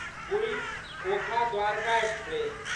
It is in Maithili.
पुरि ओखा द्वारका एक्सप्रेस